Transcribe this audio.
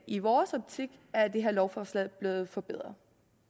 i vores optik er det her lovforslag blevet forbedret